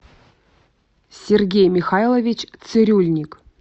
сергей михайлович цирюльник